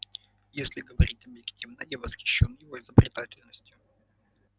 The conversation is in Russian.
если говорить объективно я восхищён его изобретательностью